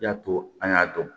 I y'a to an y'a dɔn